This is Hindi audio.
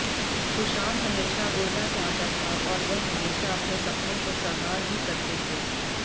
सुशांत हमेशा उड़ना चाहता था और वह हमेशा अपने सपने को सकार भी करते थे